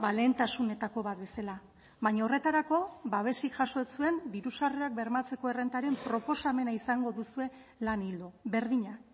lehentasunetako bat bezala baina horretarako babesik jaso ez zuen diru sarrerak bermatzeko errentaren proposamena izango duzue lan ildo berdina